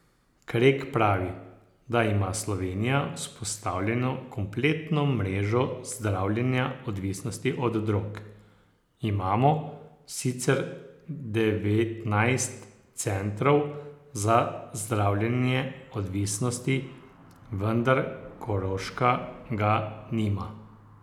Krek pravi, da ima Slovenija vzpostavljeno kompletno mrežo zdravljenja odvisnosti od drog: ''Imamo sicer devetnajst centrov za zdravljenje odvisnosti, vendar Koroška ga nima.